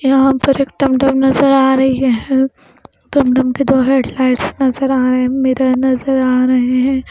यहाँ पर एक टमटम नज़र आ रही है टमटम के दो हेडलाइट्स नज़र आ रहे मिरर नज़र आ रहे हैं।